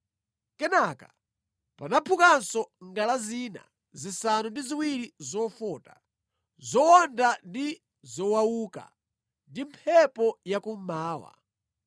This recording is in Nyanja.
Kenaka panaphukanso ngala zina zisanu ndi ziwiri zofota, zowonda ndi zowauka ndi mphepo ya kummawa.